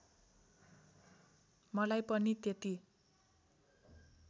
मलाई पनि त्यति